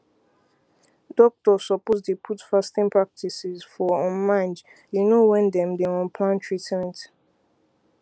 doctors suppose dey put fasting practices for um mind you know when dem dey um plan treatment